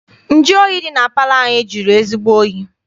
Nju oyi dị na palọ anyị jụrụ ezigbo oyi.